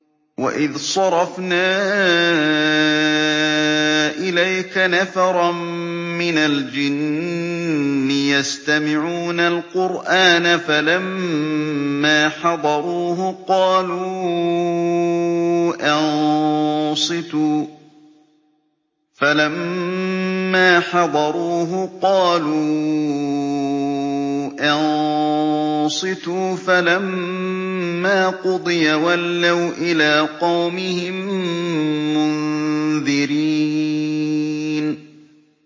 وَإِذْ صَرَفْنَا إِلَيْكَ نَفَرًا مِّنَ الْجِنِّ يَسْتَمِعُونَ الْقُرْآنَ فَلَمَّا حَضَرُوهُ قَالُوا أَنصِتُوا ۖ فَلَمَّا قُضِيَ وَلَّوْا إِلَىٰ قَوْمِهِم مُّنذِرِينَ